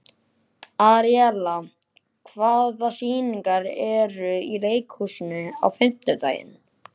Aríella, hvaða sýningar eru í leikhúsinu á fimmtudaginn?